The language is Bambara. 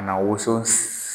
Na woso